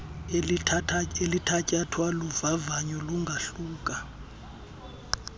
elithatyathwa luvavanyo lungahluka